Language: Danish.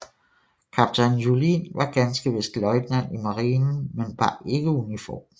Kaptajn Juhlin var ganske vist løjtnant i marinen men bar ikke uniform